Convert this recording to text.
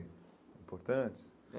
Importantes? É